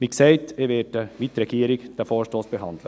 Wie gesagt: Ich werde diesen Vorstoss wie die Regierung behandeln.